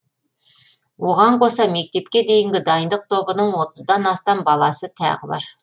оған қоса мектепке дейінгі дайындық тобының отыздан астам баласы тағы бар